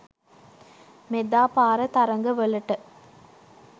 මෙදා පාර තරඟවලට